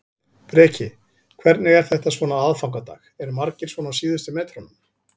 Breki: Hvernig er þetta svona á aðfangadag, eru margir svona á síðustu metrunum?